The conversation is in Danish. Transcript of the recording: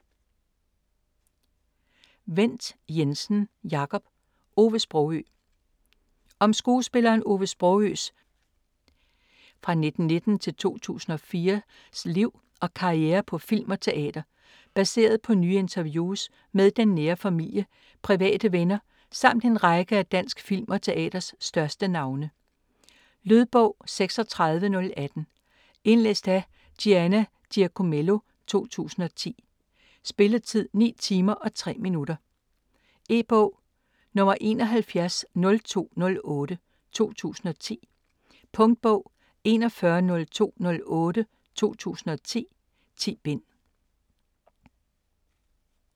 Wendt Jensen, Jacob: Ove Sprogøe Om skuespilleren Ove Sprogøes (1919-2004) liv og karriere på film og teater. Baseret på nye interviews med den nære familie, private venner samt en række af dansk film og teaters største navne. Lydbog 36018 Indlæst af Gianna Giacomello, 2010. Spilletid: 9 timer, 3 minutter. E-bog 710208 2010. Punktbog 410208 2010. 10 bind.